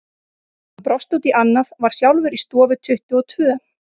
Hann brosti út í annað, var sjálfur í stofu tuttugu og tvö.